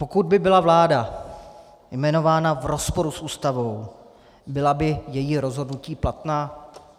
Pokud by byla vláda jmenována v rozporu s Ústavou, byla by její rozhodnutí platná?